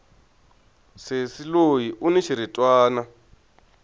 sesi loyi uni xiritwani